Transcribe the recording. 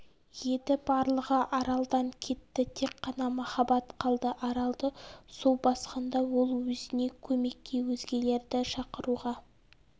еді барлығы аралдан кетті тек қана махаббат қалды аралды су басқанда ол өзіне көмекке өзгелерді шақыруға